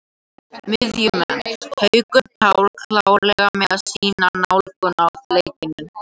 Miðjumenn: Haukur Páll klárlega með sína nálgun á leikinn.